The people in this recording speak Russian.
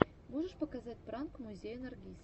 можешь показать пранк музея наргиз